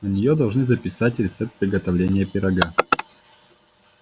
на неё должны записать рецепт приготовления пирога